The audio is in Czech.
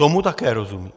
Tomu také rozumím.